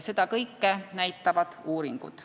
Seda kõike näitavad uuringud.